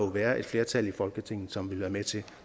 være et flertal i folketinget som ville være med til